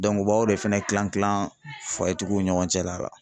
Dɔnku a b'aw de fɛnɛ kilan kilan tigiw ni ɲɔgɔn cɛla la.